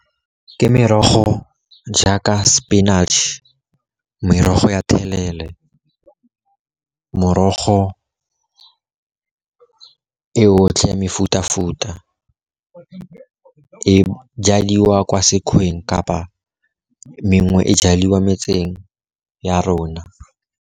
Ke merogo jaaka spinach, merogo ya thelele, morogo e yotlhe ya mefuta-futa, e jadiwa kwa sekgweng kapa mengwe e jadiwa metseng ya rona.